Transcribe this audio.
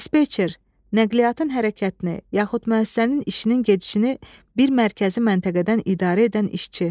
Dispetçer, nəqliyyatın hərəkətini yaxud müəssisənin işinin gedişini bir mərkəzi məntəqədən idarə edən işçi.